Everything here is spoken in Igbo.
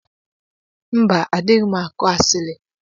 Mba adighim akụ asili.